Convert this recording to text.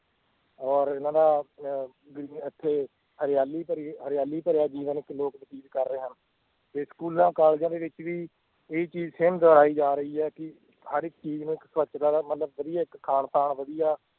ਔਰ ਇਹਨਾਂ ਦਾ ਅਹ ਵੀ ਇੱਥੇ ਹਰਿਆਲੀ ਭਰੀ ਹਰਿਆਲੀ ਭਰਿਆ ਜੀਵਨ ਇੱਥੇ ਲੋਕ ਬਤੀਤ ਕਰ ਰਹੇ ਹਨ, ਤੇ ਸਕੂਲਾਂ ਕਾਲਜਾਂ ਦੇ ਵਿੱਚ ਵੀ ਇਹ ਹੀ ਚੀਜ਼ same ਦੁਹਰਾਈ ਜਾ ਰਹੀ ਹੈ ਕਿ ਹਰ ਇੱਕ ਚੀਜ਼ ਨੂੰ ਇੱਕ ਸਵੱਛਤਾ ਦਾ ਮਤਲਬ ਵਧੀਆ ਇੱਕ ਖਾਣ ਪਾਣ ਵਧੀਆ